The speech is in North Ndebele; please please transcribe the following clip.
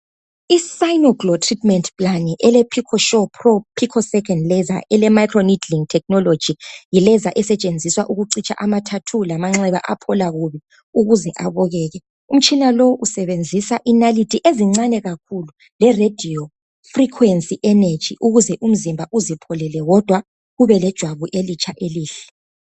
Umtshina othiwa yi cynoglow osebenzisa amanalithi , ungowokucitsha imibhalo loba ukwelapha amanxeba emzimbeni womuntu ukuze ijwabu lakhe liphole kahle libukeke.